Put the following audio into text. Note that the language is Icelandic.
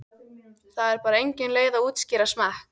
Það er bara engin leið að útskýra smekk.